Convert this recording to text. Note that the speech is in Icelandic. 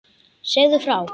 Segðu frá.